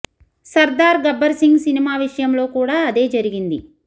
Sardar Gabbar Singh cinema విషయంలో కూడా అదే జరిగింది